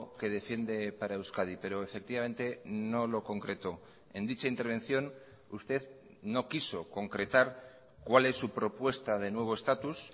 que defiende para euskadi pero efectivamente no lo concretó en dicha intervención usted no quiso concretar cuál es su propuesta de nuevo estatus